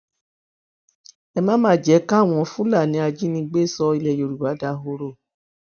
ẹ má má jẹ káwọn fúlàní ajínigbé sọ ilẹ yorùbá dahoro